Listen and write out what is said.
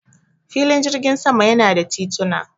Filin jirgin sama yana da tituna.